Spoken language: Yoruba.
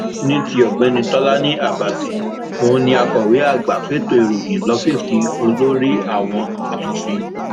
ní ti ọgbẹni tọlani àbàtì òun ní akọwé àgbà fẹtọ ìròyìn lọfíìsì olórí àwọn asòfin